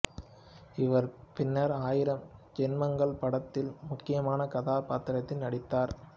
இவர் பின்னர் ஆயிரம் ஜென்மங்கள் படத்தில் முக்கியமான கதாபாத்திரத்தில் நடித்தார்